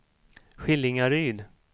Skillingaryd